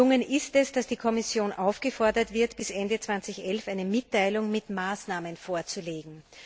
Gelungen ist es, dass die Kommission aufgefordert wird, bis Ende 2011 eine Mitteilung mit Maßnahmen vorzulegen.